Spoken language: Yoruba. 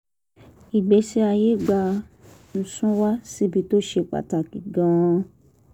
ìgbésí ayé gbà ń sún wa síbi tó ṣe pàtàkì gan - an